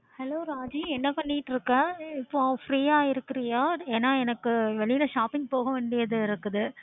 hello Raji என்ன பண்ணிட்டு இருக்க freeஆ இருக்குரிய ஏன்னா எனக்கு வெளில shopping போக வேண்டியது இருக்குது